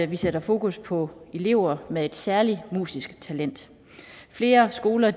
vi sætter fokus på elever med et særligt musisk talent flere skoler